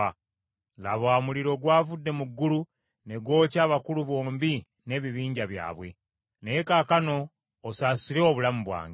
Laba, omuliro gwavudde mu ggulu ne gwokya abakulu bombi n’ebibinja byabwe, naye kaakano osaasire obulamu bwange.”